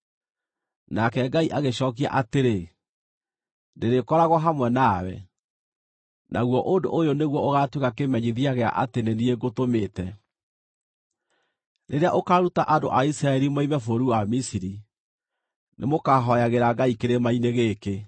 Nake Ngai agĩcookia atĩrĩ, “Ndĩrĩkoragwo hamwe nawe. Naguo ũndũ ũyũ nĩguo ũgaatuĩka kĩmenyithia gĩa atĩ nĩ niĩ ngũtũmĩte: Rĩrĩa ũkaaruta andũ a Isiraeli moime bũrũri wa Misiri, nĩmũkahooyagĩra Ngai kĩrĩma-inĩ gĩkĩ.”